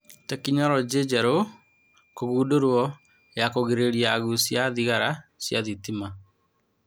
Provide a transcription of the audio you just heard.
Tekinoronjĩ njerũ kũgũndũrwo ya kũgĩrĩrĩria agũcia a thigara cia thitima